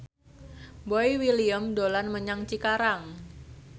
Boy William dolan menyang Cikarang